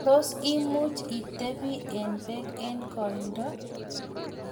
tos imuch itebi eng' beek eng' koindo?